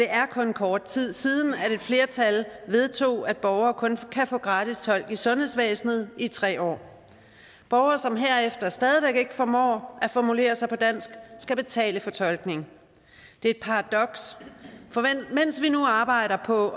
er kun kort tid siden at et flertal vedtog at borgere kun kan få gratis tolk i sundhedsvæsenet i tre år borgere som herefter stadig væk ikke formår at formulere sig på dansk skal betale for tolkning det er et paradoks for mens vi nu arbejder på